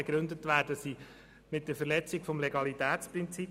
Begründet werden sie mit der Verletzung des Legalitätsprinzips.